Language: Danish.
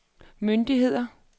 myndigheder